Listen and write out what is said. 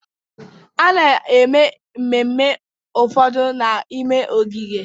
A na-eme ememme ụfọdụ n'ime ogige